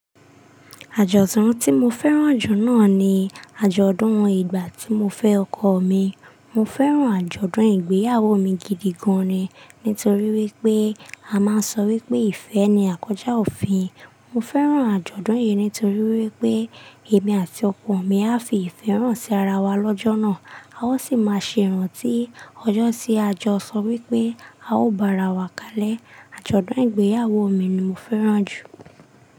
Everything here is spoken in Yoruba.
Àjọ̀dún tí mo fẹ́ràn jù náà ni àjọ̀dún ìgbà tí mo fẹ́ ọkọ mi. Mo fẹ́ràn àjọ̀dún ìgbéyàwó mi gidi gan ni nítorí wípé a máa ń sọ wípé ìfẹ́ ni àkója òfin. Mo fẹ́ràn àjọ̀dún yìí nítorí wípé èmi àti ọkọ mi a fi ìfẹ́ hàn sí ara wa lọ́jọ́ náà. A ó sì máa ṣe ìrántí ọjọ́ tí a jọ sọ wípé a ó bá ara wa kalẹ̀. Àjọ̀dún ìgbéyàwó mi ni mo fẹ́ràn jù.